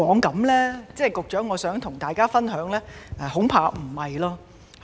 局長，我想跟大家分享的是：恐怕並非如此。